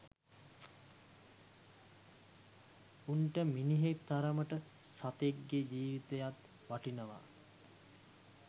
උන්ට මිනිහෙක් තරමටම සතෙක් ගේ ජීවිතයත් වටිනවා